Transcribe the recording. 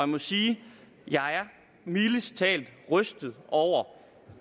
må sige at jeg mildest talt er rystet over